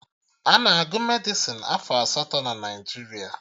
Ana agụ Medịsịn afọ asatọ na Naijiria